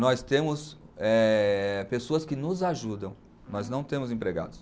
Nós temos eh, pessoas que nos ajudam, mas não temos empregados.